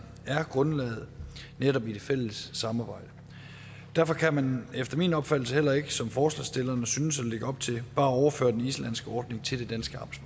er grundlaget i det fælles samarbejde derfor kan man efter min opfattelse heller ikke som forslagsstillerne synes at lægge op til bare overføre den islandske ordning til det danske